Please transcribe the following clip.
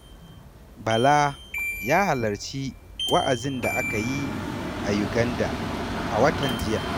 Bala ya halarci wa'azin da aka yi a Uganda a watan jiya.